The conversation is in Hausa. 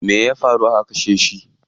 Me ya faru aka kashe shi?